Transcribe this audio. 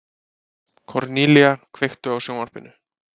Kornelía, kveiktu á sjónvarpinu.